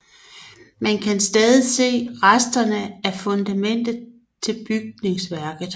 Man kan stadig se resterne af fundamentet til bygningsværket